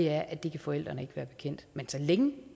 er at det kan forældrene ikke være bekendt men så længe